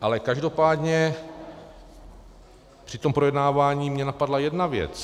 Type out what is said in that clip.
Ale každopádně při tom projednávání mě napadla jedna věc.